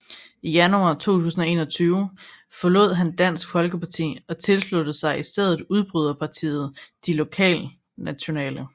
I januar 2021 forlod han Dansk Folkeparti og tilsluttede sig i stedet udbryderpartiet De Lokalnationale